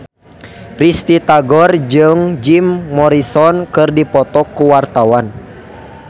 Risty Tagor jeung Jim Morrison keur dipoto ku wartawan